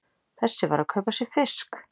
Þessi var að kaupa sér fisk!